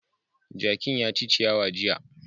Jakin ya ci ciyawa jiya.